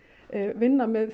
vinna með